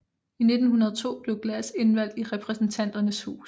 I 1902 blev Glass indvalgt i Repræsentanternes hus